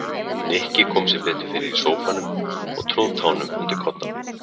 Nikki kom sér betur fyrir í sófanum og tróð tánum undir koddann.